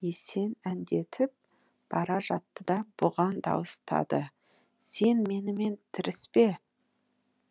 есен әндетіп бара жатты да бұған дауыстады сен менімен тіріспе